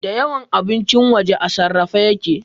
Da yawan abincin waje a sarrafe yake